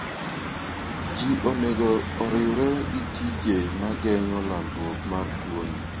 Ji onego oriwre gi tije ma geng'o landruok mar tuoni.